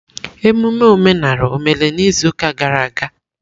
Ememme omenala emere n'izuụka gara aga?